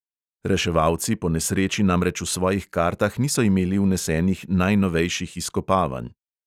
Reševalci po nesreči namreč v svojih kartah niso imeli vnesenih najnovejših izkopavanj.